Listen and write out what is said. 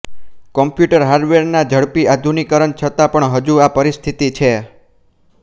computer હાર્ડવેરના ઝડપી આધુનિકરણ છતાં પણ હજૂ આ પરિસ્થિતિ છે